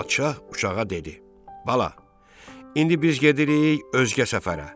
Padşah uçağa dedi: Bala, indi biz gedirik özgə səfərə.